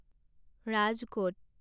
Rajkot